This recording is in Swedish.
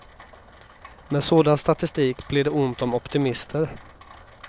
Med sådan statistik blir det ont om optimister.